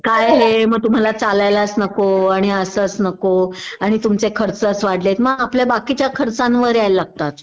काय हे मग तुम्हाला चालायलाच नको आणि असच नको आणि तुमचे खर्चच वाढलेत मग आपल्या बाकीच्या खर्चांवर यायला लागतात